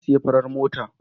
Na sayi fafar mota.